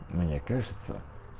мне кажется